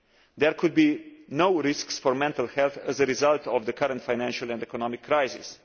There could be new risks for mental health as a result of the current financial and economic crisis.